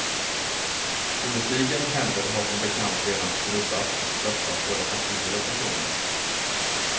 Politikens händer har som bekant redan skrubbats och störtat både partier och personer.